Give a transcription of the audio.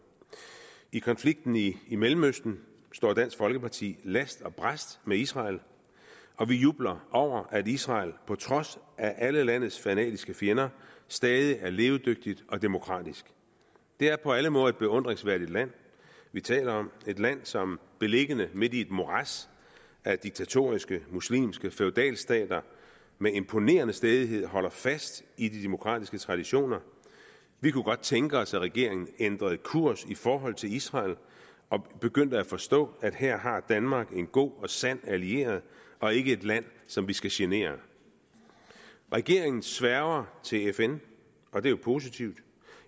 i konflikten i i mellemøsten står dansk folkeparti last og brast med israel og vi jubler over at israel på trods af alle landets fanatiske fjender stadig er levedygtigt og demokratisk det er på alle måder et beundringsværdigt land vi taler om et land som beliggende midt i et morads af diktatoriske muslimske feudalstater med imponerende stædighed holder fast i de demokratiske traditioner vi kunne godt tænke os at regeringen ændrede kurs i forhold til israel og begyndte at forstå at her har danmark en god og sand allieret og ikke et land som vi skal genere regeringen sværger til fn og det er jo positivt